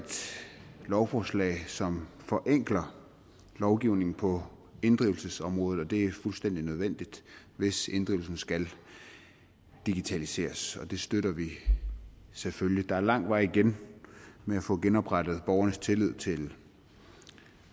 lovforslag som forenkler lovgivningen på inddrivelsesområdet og det er fuldstændig nødvendigt hvis inddrivelsen skal digitaliseres og det støtter vi selvfølgelig der er lang vej igen med at få genoprettet borgernes tillid til